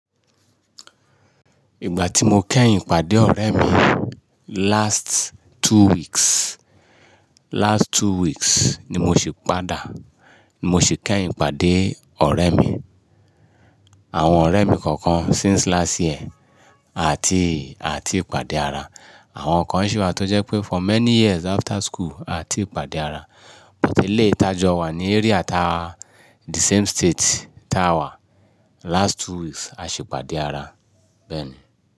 Ìgbà tí mo kẹ́yìn pàdé ọ̀rẹ́ mi last two weeks, last two weeks ni mo sì padà, ni mo sì kẹ́yìn pàdé ọ̀rẹ́ mi. Àwọn ọ̀rẹ́ mi kọ̀ọ̀kan since last year àti, àti pàdé ara. Àwọn kan sì wà tó jẹ́ pé for many years after school à tí pàdé ara. But eléétájọ́ wà ní area táa the same state táa wà. Last two weeks a sì pàdé ara. Bẹ́ẹ̀ni.